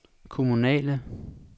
kommunale